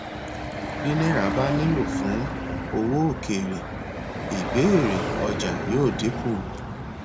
bí náírà bá nílò fún owó òkèèrè ìbéèrè ọjà yóò dínkù